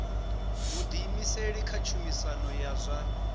vhuḓiimiseli kha tshumisano ya zwa